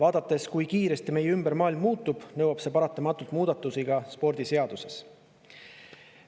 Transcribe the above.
Nähes, kui kiiresti meie ümber maailm muutub,, et see nõuab paratamatult muudatusi ka spordiseaduses.